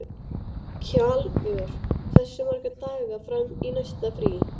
Kjalvör, hversu margir dagar fram að næsta fríi?